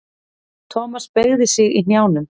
Thomas beygði sig í hnjánum.